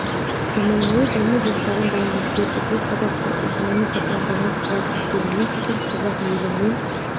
заманауи даму жоспарын дайындап берді бұл қазақстан экономикасына жаңа қуат әкелумен қатар қазақ елі мен